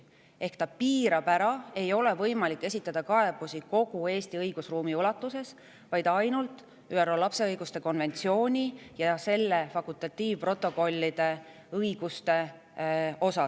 Ehk siis on see piirav: kaebusi ei ole võimalik esitada kogu Eesti õigusruumi kohta, vaid ainult ÜRO lapse õiguste konventsioonis ja selle fakultatiivprotokollides sätestatud õiguste ulatuses.